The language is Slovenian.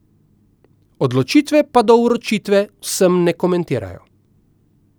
Odločitve pa do vročitve vsem ne komentirajo.